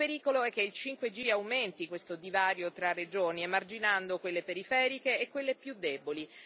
Il pericolo è che il 5G aumenti questo divario tra regioni emarginando quelle periferiche e quelle più deboli.